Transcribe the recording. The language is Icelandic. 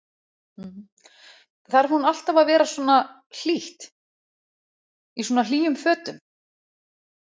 Þarf hún alltaf að vera svona hlýtt, í svona hlýjum fötum?